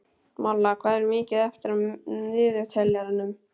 Malla, hvað er mikið eftir af niðurteljaranum?